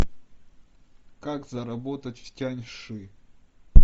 как заработать в тяньши